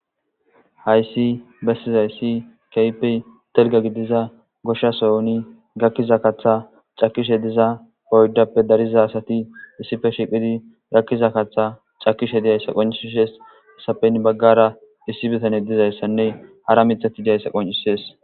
hayssi bessizayssi keypey telga gidiza goshshasoyoni gakkiza katha cakishe diza poydappe dariza asati issife shiqidi gakkiza kaththa cakishe diyayssa qonciishes hesapen baggara issi bitane dizayssanne hara mithati diyayssa qoncises